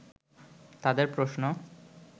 তাদের প্রশ্ন